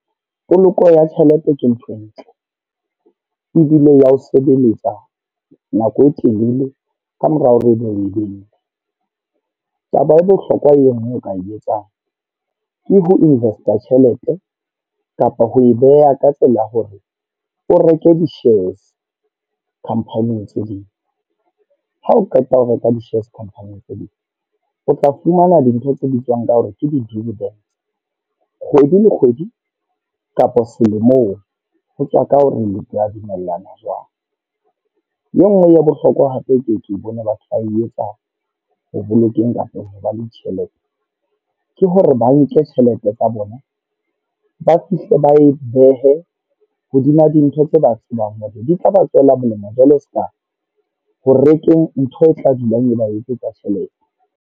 Poloko ya tjhelete ke ntho e ntle, ebile ya ho sebeletsa nako e telele ka mora hore ebe o e behile. Taba e bohlokwa e nngwe eo o ka e etsang, ke ho invest a tjhelete kapa ho e beha ka tsela ya hore o reke dishares company-ing tse ding. Ha o qeta ho reka di-shares Company-ing tse ding, o tla fumana dintlha tse bitswang ka hore ke di-dividends. Kgwedi le kgwedi, kapa selemong, ho tswa ka hore like wa dumellana jwang. E nngwe ya bohlokwa hape ke ke bone batho ba e etsa ho bolokeng kapa ho ba le tjhelete. Ke hore ba nke tjhelete tsa bona ba fihle ba e behe hodima dintho tse ba tsebang hore di tla ba tswela molemo. Jwale seka ho rekeng ntho e tla dulang e ba etsetsa tjhelete.